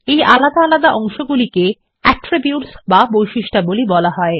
এই আলাদা আলাদা অংশগুলিকে অ্যাট্রিবিউটস বা বৈশিষ্ট্যাবলী বলা হয়